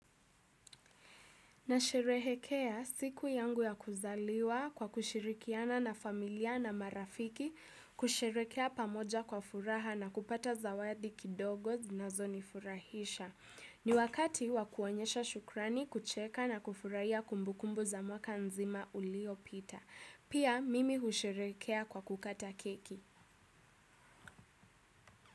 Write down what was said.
Nasherehekea siku yangu ya kuzaliwa kwa kushirikiana na familia na marafiki, kusherekea pamoja kwa furaha na kupata zawadi kidogo zinazo nifurahisha. Ni wakati wa kuonyesha shukrani, kucheka na kufurahia kumbukumbu za mwaka nzima uliopita. Pia mimi husherekea kwa kukata keki.